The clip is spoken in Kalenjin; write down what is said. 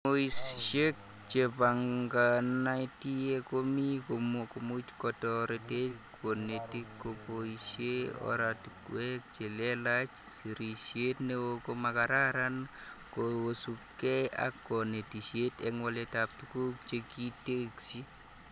Somoishek chebanganatie komii komuch kotoret konetik koboishee oratiwek chelelach, serishet neo komakararan kosubke ak konetishet eng waletab tuguk chekitesyi